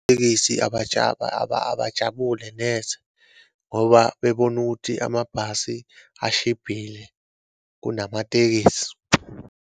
Tekisi abajabule neze ngoba bebona ukuthi amabhasi ashibhile kunamatekisi.